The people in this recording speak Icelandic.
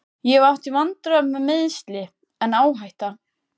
Ég hef átt í vandræðum með meiðsli, en áhætta?